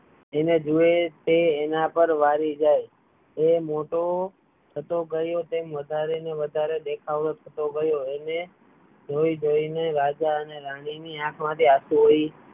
તેને જુએ તે તેના પર વારી જાય તે મોટો થતો ગયો તેમ દેખાવો થતો ગયો તેને જોઈ જોઈ ને રાજા અને રાની ની આંખો માંથી આંસુ વહી